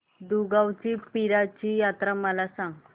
दुगावची पीराची यात्रा मला सांग